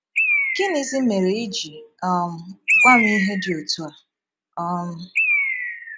Gịnịzi méré i ji um gwá m ihe dị otú a? um ”